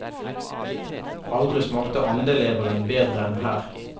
Aldri smakte andeleveren bedre enn her.